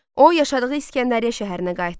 O, yaşadığı İsgəndəriyyə şəhərinə qayıtdı.